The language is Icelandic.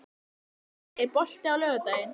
Arnsteinn, er bolti á laugardaginn?